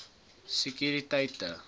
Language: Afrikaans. sekuriteit